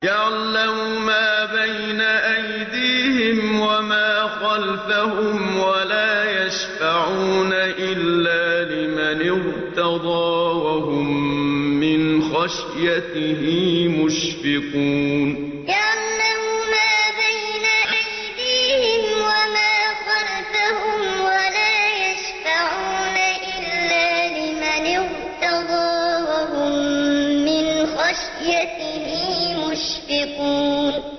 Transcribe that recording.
يَعْلَمُ مَا بَيْنَ أَيْدِيهِمْ وَمَا خَلْفَهُمْ وَلَا يَشْفَعُونَ إِلَّا لِمَنِ ارْتَضَىٰ وَهُم مِّنْ خَشْيَتِهِ مُشْفِقُونَ يَعْلَمُ مَا بَيْنَ أَيْدِيهِمْ وَمَا خَلْفَهُمْ وَلَا يَشْفَعُونَ إِلَّا لِمَنِ ارْتَضَىٰ وَهُم مِّنْ خَشْيَتِهِ مُشْفِقُونَ